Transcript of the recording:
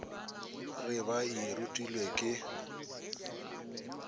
re ba e rutilwe ke